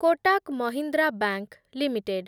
Kotak Mahindra bank limited